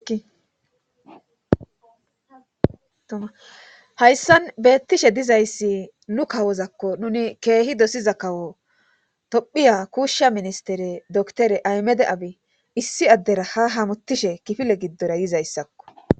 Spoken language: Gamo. hayssan beettishe dizayssi nu kawozakko nuni keehi dosiza kawo tophiya kuushsha ministere doktore aymede abi issi addera ha hamutishe kifile giddora yizayssakko